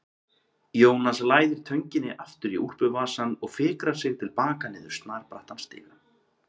Jónas læðir tönginni aftur í úlpuvasann og fikrar sig til baka niður snarbrattan stigann.